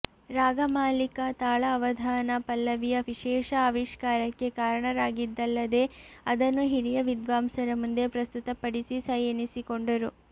ರಾಗಮಾಲಿಕ ತಾಳ ಅವಧಾನ ಪಲ್ಲವಿಯ ವಿಶೇಷ ಆವಿಷ್ಕಾರಕ್ಕೆ ಕಾರಣರಾಗಿದ್ದಲ್ಲದೇ ಅದನ್ನು ಹಿರಿಯ ವಿದ್ವಾಂಸರ ಮುಂದೆ ಪ್ರಸ್ತುತಪಡಿಸಿ ಸೈ ಎನಿಸಿಕೊಂಡರು